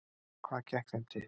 Hvað gekk þeim til?